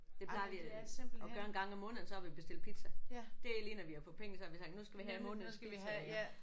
Det plejer vi at gøre en gang om måneden så har vi bestilt pizza. Det er lige når vi har fået penge så har vi sagt nu skal vi have månedens pizza